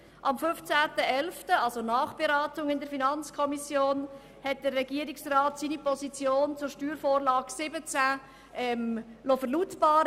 Am 15. 11. 2017 liess der Regierungsrat in der Nachberatung der FiKo seine Position zur Steuervorlage 2017 verlautbaren.